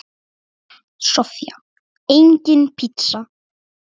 Soffía: Engin pizza.